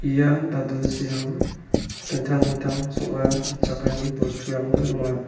ia babilsio dingtang dingtang song·a ritchakani bosturangba donga.